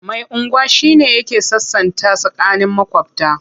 Mai unguwa shi ne yake sasanta tsakanin maƙwabta.